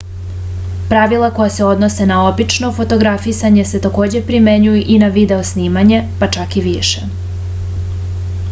pravila koja se odnose na obično fotografisanje se takođe primenjuju i na video snimanje pa čak i više